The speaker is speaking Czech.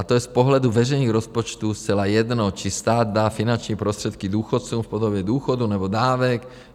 A to je z pohledu veřejných rozpočtu zcela jedno, či stát dá finanční prostředky důchodcům v podobě důchodu, nebo dávek.